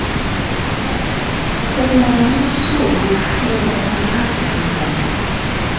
ó máa ń ṣòro fún un láti mọ